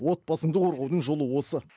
отбасыңды қорғаудың жолы осы